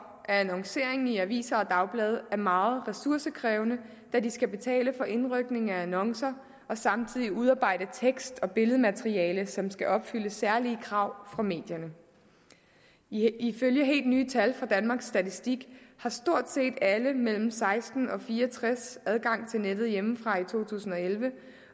at annoncering i aviser og dagblade er meget ressourcekrævende da de skal betale for indrykning af annoncer og samtidig udarbejde tekst og billedmateriale som skal opfylde særlige krav fra medierne ifølge helt nye tal fra danmarks statistik har stort set alle mellem seksten og fire og tres år adgang til nettet hjemmefra i to tusind og elleve